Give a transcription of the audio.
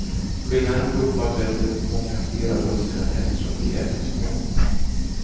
Skillnaden beror på att du äter många fler av russinen eftersom de är så små.